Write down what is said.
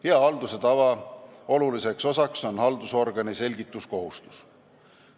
Hea halduse tava tähtis osa on haldusorgani selgituskohustus.